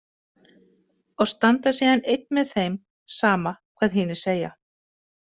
Og standa síðan einn með þeim, sama hvað hinir segja.